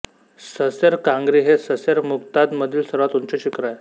ससेर कांगरी हे ससेर मुजताघ मधील सर्वात उंच शिखर आहे